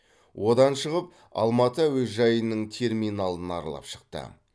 одан шығып алматы әуежайының терминалын аралап шықты